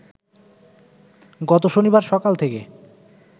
গত শনিবার সকাল থেকে